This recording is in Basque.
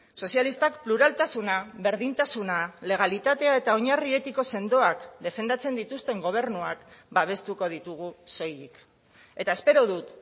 sozialistak pluraltasuna berdintasuna legalitatea eta oinarri etiko sendoak defendatzen dituzten gobernuak babestuko ditugu soilik eta espero dut